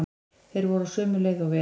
Þeir voru á sömu leið og við.